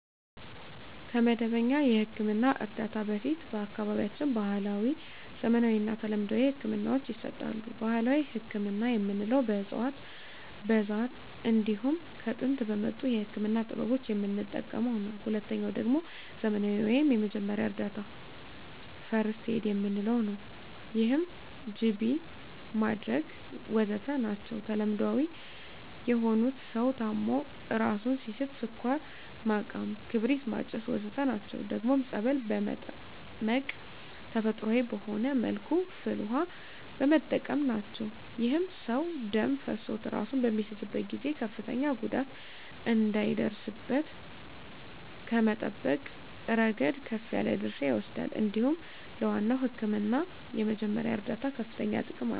ከመደበኛ የሕክምና እርዳታ በፊት በአካባቢያችን ባህለዊ፣ ዘመናዊና ተለምዷዊ ህክምናወች ይሰጣሉ። ባህላዊ ህክምና የምንለዉ በእፅዋት በዛር እንዲሁም ከጥንት በመጡ የህክምና ጥበቦች የምንጠቀመዉ ነዉ። ሁለተኛዉ ደግሞ ዘመናዊ ወይም የመጀመሪያ እርዳታ(ፈርክት ኤድ) የምንለዉ ነዉ ይህም ጅቢ ማድረግ ወዘተ ናቸዉ። ተለምዳዊ የሆኑት ሰዉ ታሞ እራሱን ሲስት ስኳር ማቃም ክርቢት ማጨስ ወዘተ ናቸዉ። ደግሞም ፀበል በመጠመቅ ተፈጥሮአዊ በሆነ መልኩ ፍል ዉሃ በመጠቀም ናቸዉ። ይህም ሰዉ ደም ፈሶት እራሱን በሚስትበት ጊዜ ከፍተኛ ጉዳት እንዳይደርስበት ከመጠበቅ እረገድ ከፍ ያለ ድርሻ ይወስዳል እንዲሁም ለዋናዉ ህክምና የመጀመሪያ እርዳታ ከፍተኛ ጥቅም አለዉ።